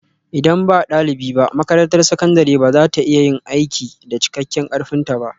Idan ba ɗalibi ba, makarantar sakandare ba za ta iya yin aiki da cikakken ƙarfinta ba